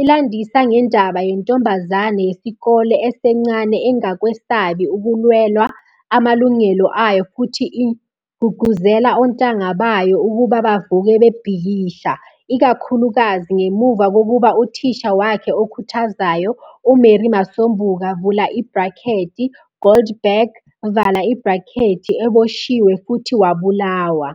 ilandisa ngendaba yentombazane yesikole esencane engakwesabi ukulwela amalungelo ayo futhi igqugquzela ontanga bayo ukuba bavuke bebhikisha, ikakhulukazi ngemuva kokuba uthisha wakhe okhuthazayo, uMary Masombuka, Goldberg, eboshiwe futhi wabulawa.